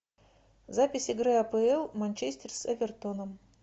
запись игры апл манчестер с эвертоном